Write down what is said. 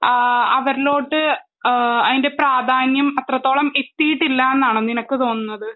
ആ അവരിലോട്ട് ഏഹ് അതിൻ്റെ പ്രാധാന്യം അത്രത്തോളം എത്തിയിട്ടില്ലന്നാണോ നിനക്ക് തോന്നുന്നത്?